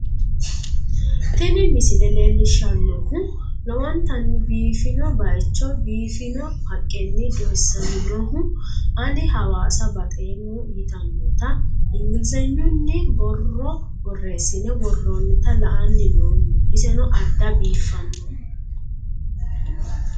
tini misile leellishshannohu lowontanni biifino bayicho biiffino haqqenni doysaminohu ,ani hawaasa baxeemmo yitannota ingilizenyunni borro borreessine worroonnita la'anni noommo, iseno adda biifanno.